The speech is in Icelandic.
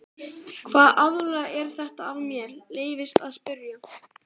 Hvaða aðilar eru þetta ef mér leyfist að spyrja?